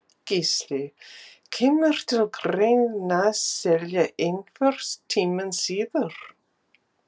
Gísli: Kemur til greina selja einhvern tímann síðar?